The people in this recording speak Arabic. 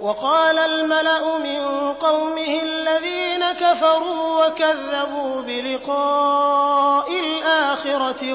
وَقَالَ الْمَلَأُ مِن قَوْمِهِ الَّذِينَ كَفَرُوا وَكَذَّبُوا بِلِقَاءِ الْآخِرَةِ